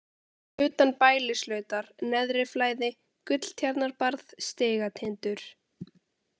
Utan Bælislautar, Neðriflæði, Gulltjarnarbarð, Stigatindur